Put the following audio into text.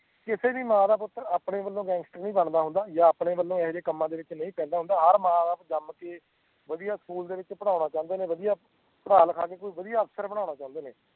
ਕਿਸੇ ਵੀ ਮਾਂ ਦਾ ਪੁੱਤ ਆਪਣੇ ਵਲੋਂ ਗੈਂਗਸਟਰ ਨਹੀਂ ਬਣਦਾ ਹੁੰਦਾ ਯਾ ਆਪਣੇ ਵਲੋਂ ਇਹੋ ਜੇ ਕੰਮਾ ਚ ਨਹੀਂ ਪੈਦਾ ਹੁੰਦਾ ਹਰ ਮਾਂ ਬਾਪ ਜੰਮ ਕੇ ਵਿਦਿਹਾ ਸਕੂਲ ਦੇ ਵਿੱਚ ਪੜਣਾ ਚਾਹੀਦੇ ਨੇ ਵਿਦਿਹਾ ਪੜਾ ਲਿਖਾ ਕੇ ਕੋਈ ਵਦਿਹਾ ਅਫ਼ਸਰ ਬਣਨਾ ਚਾਦੇ